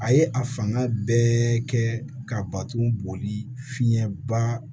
A ye a fanga bɛɛ kɛ ka bato boli fiɲɛba